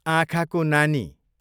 आँखाको नानी